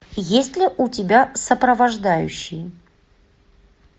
есть ли у тебя сопровождающий